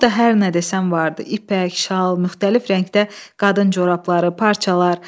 Burada hər nə desən vardı: ipək, şal, müxtəlif rəngdə qadın corabları, parçalar.